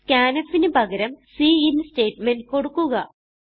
scanfന് പകരം cin statement കൊടുക്കുക